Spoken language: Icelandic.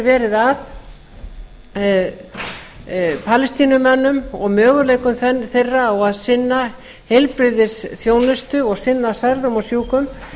verið að palestínumönnum og möguleikum þeirra á að sinna heilbrigðisþjónustu og sinna særðum og sjúkum